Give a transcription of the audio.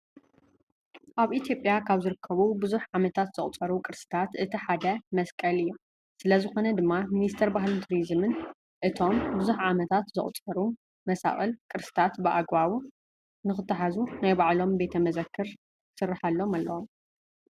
ኣብ ኢትዮጵያ ካብ ዝርከቡ ብዙሕ ዓመታት ዘቁፀሩ ቅርስታት እቲ ሓደ መሳቅል እዮም። ስለዝኾነ ድማ ሚኒስተር ባህልን ቱሪዝምን እቶም ብዙሕ ዓመታት ዘቑፀሩ መሳቅልን ቅርስታት ብኣግባቡ ንክትሓዙ ናይ ባዕልቶም ቤተ መዘክር ክስረሓሎም ኣለዎ።